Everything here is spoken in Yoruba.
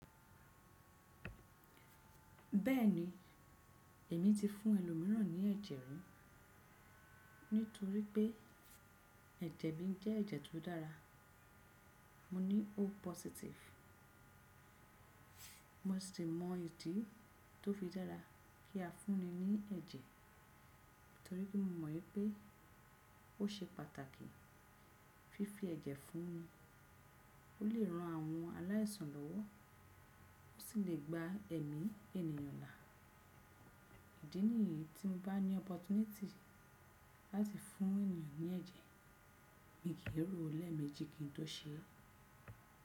Bẹ́ẹ̀ni èmi ti fún ẹlòmíràn ní ẹ̀jẹ̀ rí, nítorí pé ẹ̀jẹ̀ mi jẹ́ ẹ̀jẹ̀ tó dára. Mo ní O positive. Mo sì mọ ìdí tó fi dára kí a fúnni ní ẹ̀jẹ̀, nítorí pé mo mọ̀ wípé ó ṣe pàtàkì. Fífi ẹ̀jẹ̀ fún ni ó lè ran àwọn aláìsàn lọ́wọ́, ó sì lè gba ẹ̀mí ènìyàn là. Ìdí nìyí tí mo bá ní opportunity láti fún ènìyàn ní ẹ̀jẹ̀, mi kì í ro léemejí kí n tó ṣe é.